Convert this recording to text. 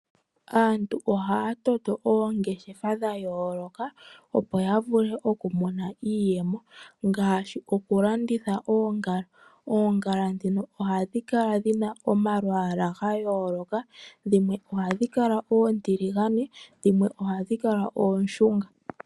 Aantu ohaa toto oongeshefa dha yooloka, opo ya vule okumona iiyemo, ngaashi okulanditha oongala. Oongala ndhino ohadhi kala dhi na omalwaala ga yooloka. Dhimwe ohadhi kala oontiligane, dhimwe ohadhi kala oonshunga.